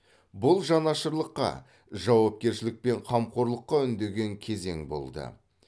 бұл жанашырлыққа жауапкершілік пен қамқорлыққа үндеген кезең болды